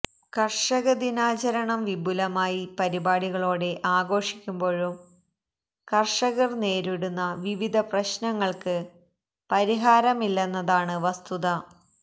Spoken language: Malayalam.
കര്ഷക ദിനാചരണം വിപുലമായ പരിപാടികളോടെ ആഘോഷിക്കുമ്പോഴും കര്ഷകര് നേരിടുന്ന വിവിധ പ്രശ്നങ്ങള്ക്ക് പരിഹാരമില്ലെന്നതാണ് വസ്തുത